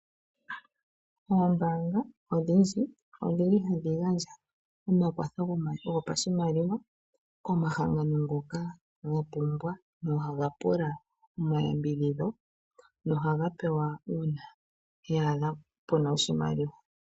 Oombaanga odhindji odhili hadhi gandja omakwatho go pashimaliwa komahangano ngoka ga pumbwa nohaga pula omayambidhidho nohaga pewa uuna yaadha puna oshimaliwa.